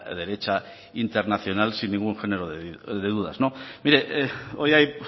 derecha internacional sin ningún género de dudas mire hoy hay